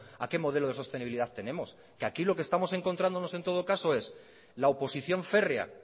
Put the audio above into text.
a qué modelo de sostenibilidad tenemos que aquí lo que estamos encontrándonos en todo caso es la oposición férrea